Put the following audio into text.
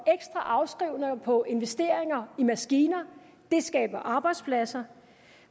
afskrivninger på investeringer i maskiner det skaber arbejdspladser